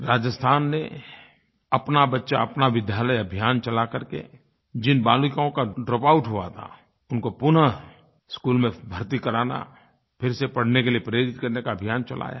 राजस्थान ने अपना बच्चा अपना विद्यालय अभियान चला करके जिन बालिकाओं का ड्रॉपआउट हुआ था उनको पुनः स्कूल में भर्ती कराना फिर से पढ़ने के लिये प्रेरित करने का अभियान चलाया है